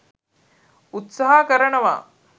උත්සාහ කරනවා.